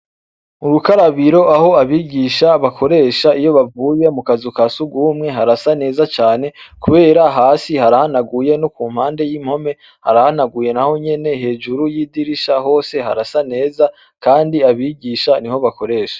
Murukarabiro aho abigisha bakoresha iyo bavuye mu kazu ka sugumwe harasa neza cane, kubera hasi harahanaguye no ku mpande y'impome harahanaguye na ho nyene hejuru y'idirisha hose harasa neza, kandi abigisha ni ho bakoresha.